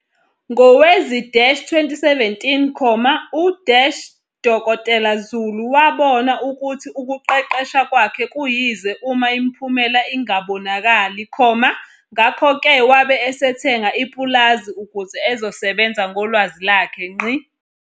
Ngowezi-2017, u-Dkt Zulu wabona ukuthi ukuqeqesha kwakhe kuyize uma imiphumela ingabonakali, ngakho-ke wabe esethenga ipulazi ukuze ezosebenza ngolwazi lwakhe.